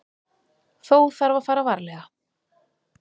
Þó þarf að fara varlega.